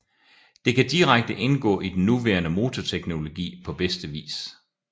Det kan direkte indgå i den nuværende motorteknologi på bedste vis